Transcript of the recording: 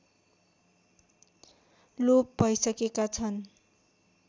लोप भइसकेका छन्